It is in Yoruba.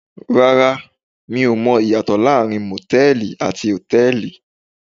Rara, mi o mọ ìyàtọ̀ láàárín motẹ̀ẹ̀li àti hotẹ́ẹ́li.